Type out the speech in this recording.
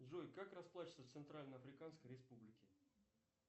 джой как расплачиваться в центральноафриканской республике